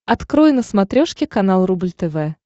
открой на смотрешке канал рубль тв